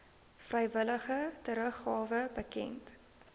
vrywillige teruggawe bekend